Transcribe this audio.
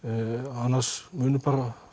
annars munu bara